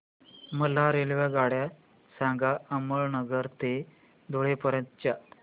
मला रेल्वेगाड्या सांगा अमळनेर ते धुळे पर्यंतच्या